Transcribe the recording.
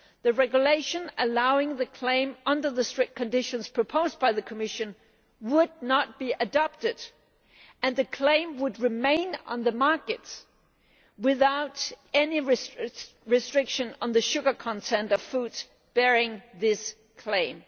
If it is, then the regulation allowing the claim under the strict conditions proposed by the Commission would not be adopted and the claim would remain on the market without any restriction on the sugar content of foods bearing this claim.